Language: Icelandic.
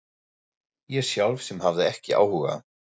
Ég sjálf sem hafði ekki áhuga.